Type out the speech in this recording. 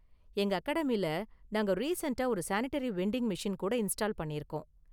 எங்க அகாடமில நாங்க ரீசண்ட்டா ஒரு சானிடரி வெண்டிங் மெஷின் கூட இன்ஸ்டால் பண்ணிருக்கோம்.